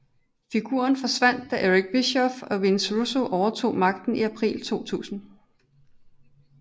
Figuren forsvandt da Eric Bischoff og Vince Russo overtog magten i april 2000